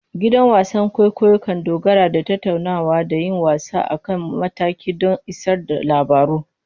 Gidan wasan kwaikwayo kan dogara da tattaunawa da yin wasa a kan mataki don isar da labaru.